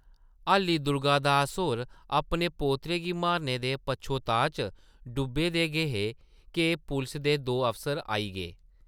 हाल्ली दुर्गा दास होर अपने पोतरे गी मारने दे पच्छोताऽ च डुब्बे दे गै हे’क पुलसा दे दो अफसर आई गे ।